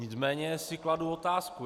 Nicméně si kladu otázku.